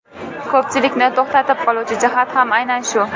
Ko‘pchilikni to‘xtatib qoluvchi jihat ham aynan shu.